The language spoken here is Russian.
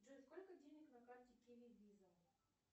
джой сколько денег на карте киви виза